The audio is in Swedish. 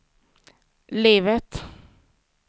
livet